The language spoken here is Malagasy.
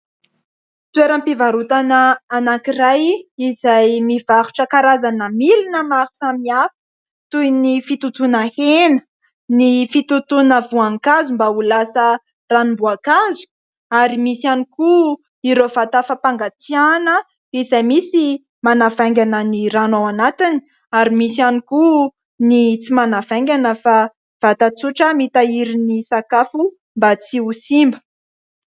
Toeram-pivarotana anankiray izay mivarotra karazana milina maro samihafa toy ny fitotoana hena, ny fitotoana voankazo mba ho lasa ranom-boakazo, ary misy ihany koa ireo vata fampangatsiahana izay misy manavaingana ny rano ao anatiny, ary misy ihany koa ny tsy manavaingana fa vata tsotra mitahiry ny sakafo mba tsy ho simba.